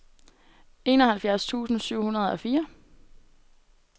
enoghalvfjerds tusind syv hundrede og fire